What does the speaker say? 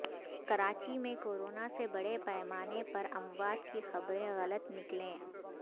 کراچی میں کورونا سے بڑے پیمانے پر اموات کی خبریں غلط نکلیں